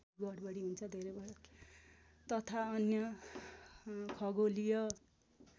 तथा अन्य खगोलीय